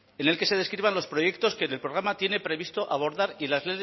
en el que se describan los proyectos que en el programa tiene previste abordar y las